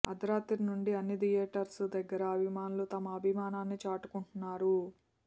అర్ధరాత్రి నుండే అన్ని థియేటర్స్ దగ్గర అభిమానులు తమ అభిమానాన్ని చాటుకుంటున్నారు